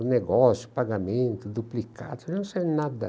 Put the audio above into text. O negócio, o pagamento, duplicados, ela não sabia nada.